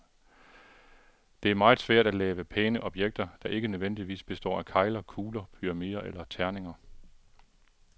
Det er meget svært at lave pæne objekter, der ikke nødvendigvis består af kegler, kugler, pyramider eller terninger.